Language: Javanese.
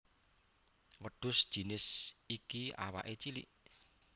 Wêdhus jinis iki awaké cilik